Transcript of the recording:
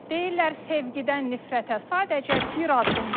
Deyirlər sevgidən nifrətə sadəcə bir addım var.